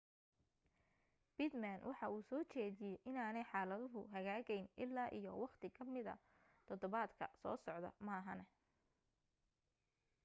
pittman waxa uu soo jeediyay inaanay xaaladuhu hagaagayn illaa iyo waqti kamid todobaadka soo socda maahane